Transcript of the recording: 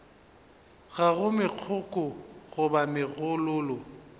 ga go megokgo goba megololo